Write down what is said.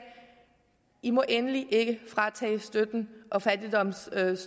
i må endelig ikke fratage støtten og fattigdomsstøtten